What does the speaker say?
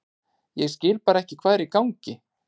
Ég bara skil ekki hvað er í gangi.